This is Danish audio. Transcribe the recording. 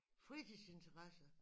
Fritidsinteresser